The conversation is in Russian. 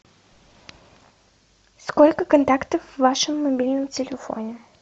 сколько контактов в вашем мобильном телефоне